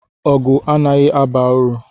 Ọgụ anaghị aba uru.